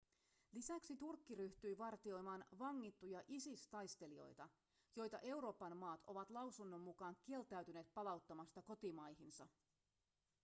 lisäksi turkki ryhtyi vartioimaan vangittuja isis-taistelijoita joita euroopan maat ovat lausunnon mukaan kieltäytyneet palauttamasta kotimaihinsa